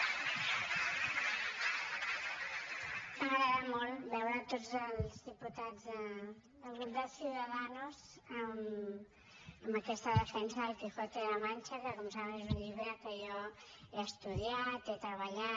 m’agrada molt veure tots els diputats del grup de ciudadanos amb aquesta defensa d’el quijote de la mancha que com saben és un llibre que jo he estudiat he treballat